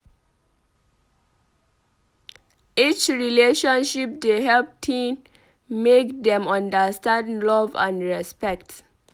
Each relationship dey help teen make dem understand love and respect.